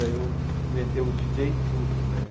Aí eu inventei o djíi djêi Tudo, né?